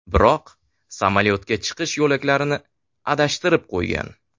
Biroq samolyotga chiqish yo‘laklarini adashtirib qo‘ygan.